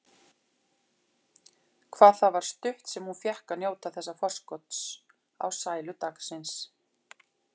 Hvað það var stutt sem hún fékk að njóta þessa forskots á sælu dagsins.